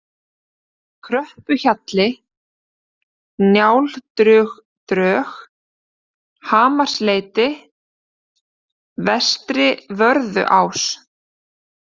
Kröppuhjalli, Njáldrudrög, Hamarsleiti, Vestri-Vörðuás